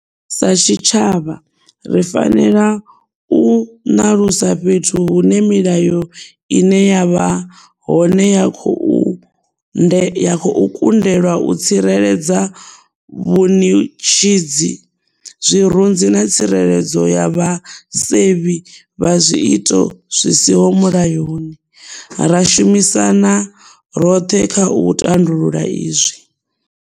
Sa tshitshavha, ri fanela u ṋalusa fhethu hune milayo ine ya vha hone ya khou kundelwa u tsireledza vhuṅi tshidzi, zwirunzi na tsireledzo ya vhasevhi vha zwiito zwisiho mulayoni, ra shumisana roṱhe kha u tandulula izwi.